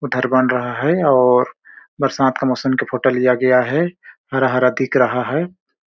उधर बन रहा है और बरसात का मौसम के फोटो लिया गया है हरा-हरा दिख रहा है।